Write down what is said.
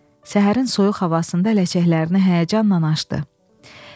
Səhərin soyuq havasında ləçəklərini həyəcanla açdı.